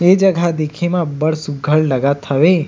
ए जगह ह दिखे म अब्बड़ सुघघर लगत हे।